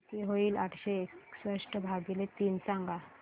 किती होईल आठशे एकसष्ट भागीले तीन सांगा